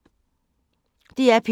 DR P2